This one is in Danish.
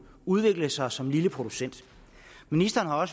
udvikle sig som lille producent ministeren har